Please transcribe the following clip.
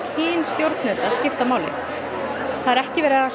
kyn stjórnenda skipti máli það er ekki verið að